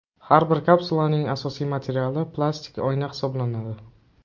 Har bir kapsulaning asosiy materiali plastik oyna hisoblanadi.